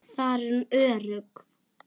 Þar er hún örugg.